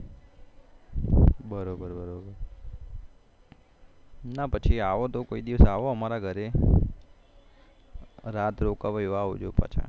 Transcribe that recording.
બરોબર ના પછી આવો તો કોઈ દિવસ આવો અમારા ઘરે રાત રોકવો એવા આવજો પાછા